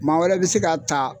Maa wɛrɛ bɛ se ka taa